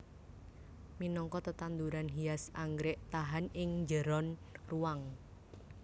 Minangka tetanduran hias anggrèk tahan ing njeron ruwang